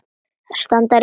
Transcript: Standa á rétti sínum?